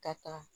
Ka taa